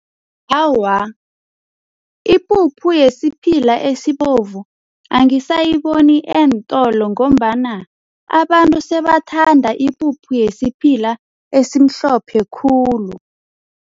Awa, ipuphu yesiphila esibovu angisayiboni eentolo ngombana abantu sebathanda ipuphu yesiphila esimhlophe khulu.